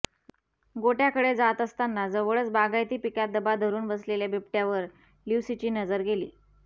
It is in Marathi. गोठ्याकडे जात असताना जवळच बागायती पिकात दबा धरुन बसलेल्या बिबट्यावर ल्युसीची नजर गेली